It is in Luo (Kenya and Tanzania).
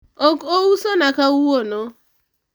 ok ousona kawuono